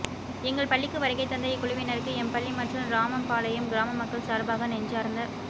எங்கள் பள்ளிக்கு வருகைதந்த இக்குழுவினருக்கு எம்பள்ளி மற்றும் இராமம்பாளையம் கிராம மக்கள் சார்பாக நெஞ்சார்ந்த